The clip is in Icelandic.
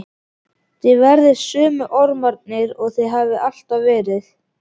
Hina ömmuna þekkti ég á blágráu liðunum í hárinu.